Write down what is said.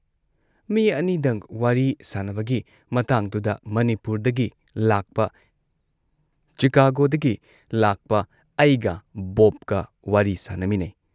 ꯃꯤ ꯑꯅꯤꯗꯪ ꯋꯥꯔꯤ ꯁꯥꯟꯅꯕꯒꯤ ꯃꯇꯥꯡꯗꯨꯗ ꯃꯅꯤꯄꯨꯔꯗꯒꯤ ꯂꯥꯛꯄ ꯆꯤꯀꯥꯒꯣꯗꯒꯤ ꯂꯥꯛꯄ ꯑꯩꯒ ꯕꯣꯕꯀ ꯋꯥꯔꯤ ꯁꯥꯟꯅꯃꯤꯟꯅꯩ ꯫